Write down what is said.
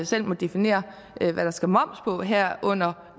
selv må definere hvad der skal moms på herunder